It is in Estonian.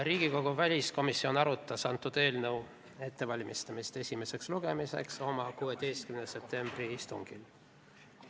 Riigikogu väliskomisjon arutas selle eelnõu ettevalmistamist esimeseks lugemiseks oma 16. septembri istungil.